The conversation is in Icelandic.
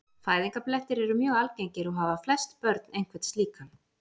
Fæðingarblettir eru mjög algengir og hafa flest börn einhvern slíkan.